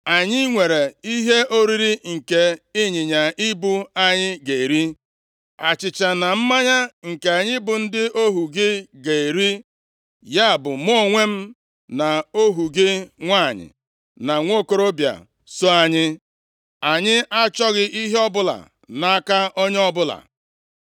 Anyị nwere ihe oriri nke ịnyịnya ibu anyị ga-eri, achịcha na mmanya nke anyị bụ ndị ohu gị ga-eri, ya bụ, mụ onwe m na ohu gị nwanyị na nwokorobịa so anyị. Anyị achọghị ihe ọbụla nʼaka onye ọbụla.”